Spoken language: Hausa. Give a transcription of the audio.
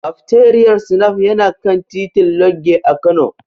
Kafteriyar Snaf yana kan titin Lodge a Kano.